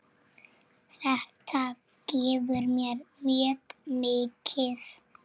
Þetta gefur mér mjög mikið.